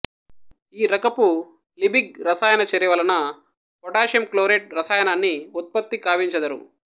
ఈ రకపు లిబిగ్ రసాయన చర్యవలన పొటాషియం క్లోరేట్ రసాయనాన్ని ఉత్పత్తి కావించెదరు